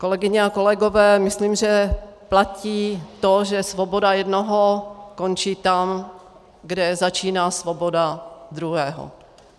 Kolegyně a kolegové, myslím, že platí to, že svoboda jednoho končí tam, kde začíná svoboda druhého.